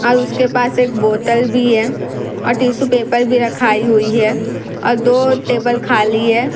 औल उसके पास एक बोतल भी है और टीशू पेपर भी रखाई हुई है और दो टेबल खाली है।